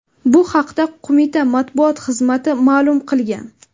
Bu haqda qo‘mita matbuot xizmati ma’lum qilgan .